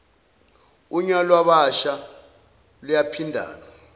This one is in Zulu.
unya lwabasha luyaphindana